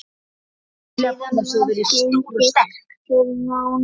Síðan var gengið til náða.